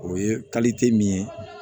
O ye min ye